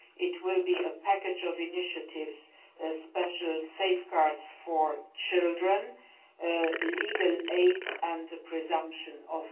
It will be a package of initiatives special safeguards for children, legal aid and a presumption of innocence.